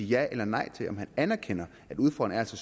ja eller nej til om han anerkender at udfordringen